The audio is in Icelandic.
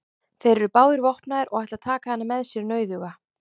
Þeir eru báðir vopnaðir og ætla að taka hana með sér nauðuga.